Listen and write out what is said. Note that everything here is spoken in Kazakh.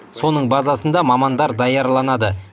соның базасында мамандар даярланады